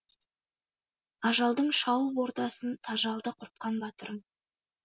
ажалдың шауып ордасын тажалды құртқан батырым